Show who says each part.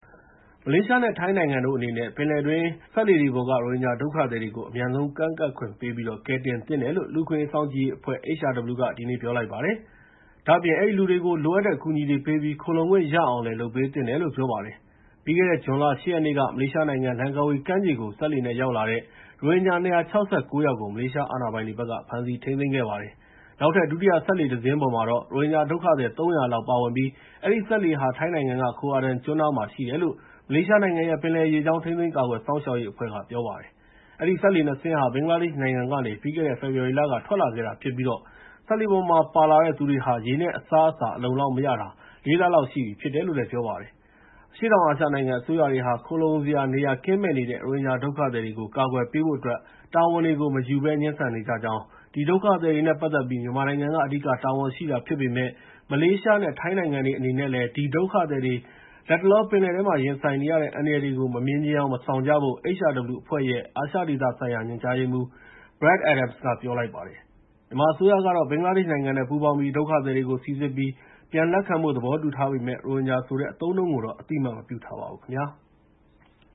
Speaker 1: မလေးရှားနဲ့ ထိုင်းနိုင်ငံတို့အနေနဲ့ ပင်လယ်တွင်း စက်လှေတွေပေါ်က ရိုဟင်ဂျာဒုက္ခသည်တွေကို အမြန်ဆုံး ကမ်းကပ်ခွင့်ပေးပြီး ကယ်တင်သင့်တယ်လို့ လူ့အခွင့်အရေးစောင့်ကြည့်ရေးအဖွဲ့ (HRW) က ဒီနေ့ ပြောလိုက်ပါတယ်။ ဒါ့အပြင် အဲဒီလူတွေကို လိုအပ်တဲ့ အကူအညီတွေပေးပြီး ခိုလှုံခွင့်ရအောင်လည်း လုပ်ပေးသင့်တယ်လို့ ပြောပါတယ်။ ပြီးခဲ့တဲ့ ဇွန်လ ၈ ရက်နေ့က မလေးရှားနိုင်ငံ လန်ကာဝီကမ်းခြေကို စက်လှေနဲ့ ရောက်လာတဲ့ ရိုဟင်ဂျာ ၂၆၉ ယောက်ကို မလေးရှားအာဏာပိုင်တွေက ဖမ်းဆီးထိန်းသိမ်းခဲ့ပါတယ်။ နောက်ထပ် ဒုတိယစက်လှေတစင်းပေါ်မှာတော့ ရိုဟင်ဂျာဒုက္ခသည် ၃၀၀ လောက် ပါဝင်ပြီး အဲဒီစက်လှေဟာ ထိုင်းနိုင်ငံက Koh Adang ကျွန်းနားမှာ ရှိတယ်လို့ မလေးရှားနိုင်ငံရဲ့ ပင်လယ်ရေကြောင်း ထိန်းသိမ်း ကာကွယ်စောင့်ရှောက်ရေးအဖွဲ့က ပြောပါတယ်။ အဲဒီ စက်လှေ နှစ် စင်းဟာ ဘင်္ဂလားဒေ့ရှ်နိုင်ငံကနေ ပြီးခဲ့တဲ့ ဖောဖော်ဝါရီလက ထွက်လာခဲ့တာဖြစ်ပြီး စက်လှေပေါ်မှာ ပါလာတဲ့သူတွေဟာ ရေနဲ့ အစားအစား အလုံအလောက်မရတာ ၄ လ လောက်ရှိပြီဖြစ်တယ်လို့ ပြောပါတယ်။ အရှေ့တောင်အာရှနိုင်ငံ အစိုးရတွေဟာ ခိုလှုံစရာနေရာကင်းမဲ့နေတဲ့ ရိုဟင်ဂျာဒုက္ခသည်တွေကို ကာကွယ်ပေးဖို့အတွက် တာဝန်တွေကို မယူဘဲ ငြင်းဆန်နေကြကြောင်း၊ ဒီဒုက္ခသည်တွေနဲ့ ပတ်သက်ပြီး မြန်မာနိုင်ငံက အဓိက တာဝန်ရှိတာဖြစ်ပေမဲ့ မလေးရှားနဲ့ ထိုင်းနိုင်ငံတွေ အနေနဲ့လည်း ဒီဒုက္ခသည်တွေ လတ်တလော ပင်လယ်ထဲမှာ ရင်ဆိုင်နေရတဲ့ အန္တရာယ်တွေကို မမြင်ချင်ယောင် မဆောင်ကြဖို့ HRW အဖွဲ့ရဲ့ အာရှဒေသဆိုင်ရာ ညွှန်ကြားရေးမှူး Brad Adams က ပြောလိုက်ပါတယ်။ မြန်မာအစိုးရကတော့ ဘင်္ဂလားဒေ့ရှ်နိုင်ငံနဲ့ ပူးပေါင်းပြီး ဒုက္ခသည်တွေကို စိစစ်ပြီး ပြန်လက်ခံဖို့ သဘောတူထားပေမဲ့ ရိုဟင်ဂျာဆိုတဲ့ အသုံးအနှုန်းကိုတော့ အသိအမှတ်မပြုထားပါဘူးခင်ဗျာ။